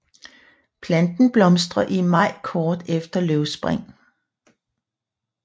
Planten blomstrer i maj kort efter løvspring